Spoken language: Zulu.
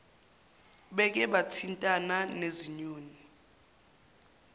beke bathintana nezinyoni